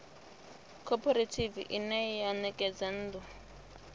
khophorethivi ine ya ṋekedza nnḓu